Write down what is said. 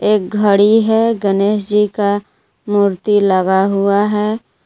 एक घड़ी है गणेश जी का मूर्ति लगा हुआ है।